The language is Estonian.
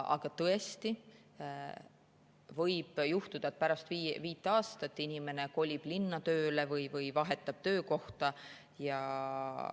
Aga võib juhtuda, et pärast viit aastat inimene kolib linna tööle või vahetab töökohta.